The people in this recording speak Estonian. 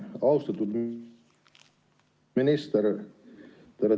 Austatud minister!